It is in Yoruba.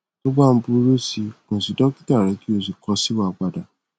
tó bá ń burú si kàn sí dọkítà rẹ kí o sì kọ sí wa padà